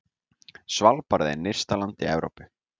Svalbarði er nyrsta land í Evrópu.